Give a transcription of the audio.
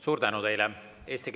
Suur tänu teile!